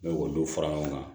N'o dɔw fara ɲɔgɔn kan